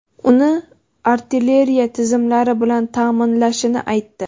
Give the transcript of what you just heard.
uni artilleriya tizimlari bilan ta’minlashini aytdi.